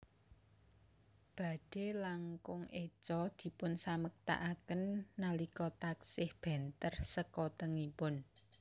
Badhe langkung éco dipun samektakaken nalika taksih benter sekotengipun